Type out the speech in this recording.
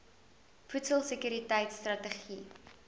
voedsel sekuriteit strategie